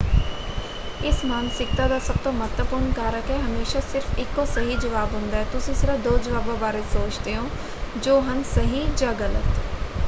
ਇਸ ਮਾਨਸਿਕਤਾ ਦਾ ਸਭ ਤੋਂ ਮਹੱਤਵਪੂਰਣ ਕਾਰਕ ਹੈ: ਹਮੇਸ਼ਾਂ ਸਿਰਫ਼ ਇੱਕੋ ਸਹੀ ਜਵਾਬ ਹੁੰਦਾ ਹੈ। ਤੁਸੀਂ ਸਿਰਫ਼ ਦੋ ਜਵਾਬਾਂ ਬਾਰੇ ਸੋਚਦੇ ਹੋ ਜੋ ਹਨ ਸਹੀ ਜਾਂ ਗਲਤ।